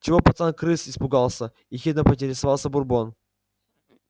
чего пацан крыс испугался ехидно поинтересовался бурбон